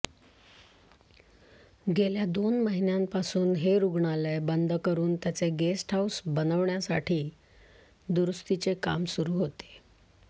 गेल्या दोन महिन्यांपासून हे रुग्णालय बंद करून त्याचे गेस्ट हाऊस बनविण्यासाठी दुरुस्तीचे काम सुरू होते